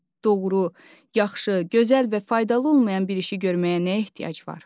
Doğru, yaxşı, gözəl və faydalı olmayan bir işi görməyə nə ehtiyac var?